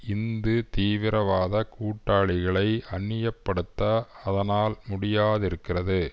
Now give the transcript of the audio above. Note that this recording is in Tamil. இந்து தீவிரவாத கூட்டாளிகளை அந்நியப்படுத்த அதனால் முடியாதிருக்கிறது